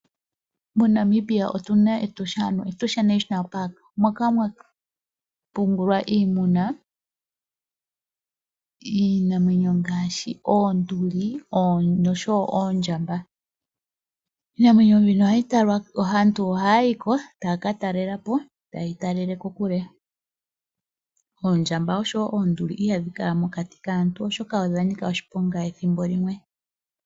MoNamibia otuna Etosha National Park moka mweedhililwa iinamwenyo ngaashi oonduli noshowo oondjamba. Iinamwenyo mbino ohayi katalelwapo kaantu taye yitalele kokule. Oondjamba oshowo oonduli ihadhi kala mokati kaantu oshoka odha nika oshiponga thimbo limwe.